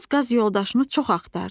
Boz qaz yoldaşını çox axtardı.